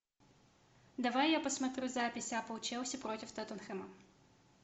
давай я посмотрю запись апл челси против тоттенхэма